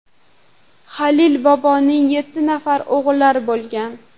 Halil boboning yetti nafar o‘g‘illari bo‘lgan.